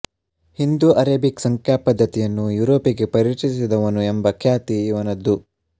Hindu Arabic ಸಂಖ್ಯಾ ಪದ್ಧತಿಯನ್ನು ಯೂರೋಪಿಗೆ ಪರಿಚಯಿಸಿದವನು ಎಂಬ ಖ್ಯಾತಿ ಇವನದ್ದು